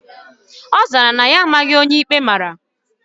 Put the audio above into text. Ozara na ya amara onye ikpe mara